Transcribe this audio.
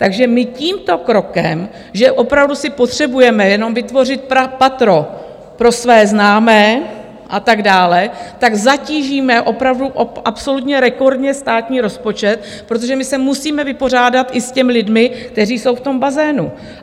Takže my tímto krokem, že opravdu si potřebujeme jenom vytvořit patro pro své známé a tak dále, tak zatížíme opravdu absolutně rekordně státní rozpočet, protože my se musíme vypořádat i s těmi lidmi, kteří jsou v tom bazénu.